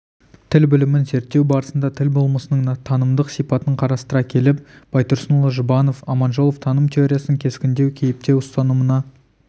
тіл білімін зерттеу барысында тіл болмысының танымдық сипатын қарастыра келіп байтұрсынұлы жұбанов аманжолов таным теориясының кескіндеу кейіптеу ұстанымына